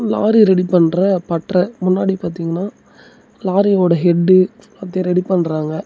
Lorry ready பண்ற பட்ற முன்னாடி பாத்திங்கனா லாரியோட ஹெட்டு அது ரெடி பண்றாங்க.